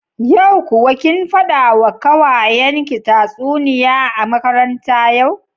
Yau kuwa, kin fada wa kawayanki tatsuniya a makaranta yau?